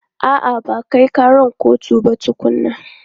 A'a, ba a kai ƙara kotu ba tukunnan.